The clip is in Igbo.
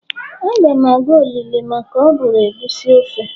Agam aga olili maka oburu egusi ofe